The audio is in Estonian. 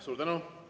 Suur tänu!